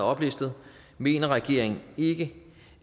oplistet mener regeringen ikke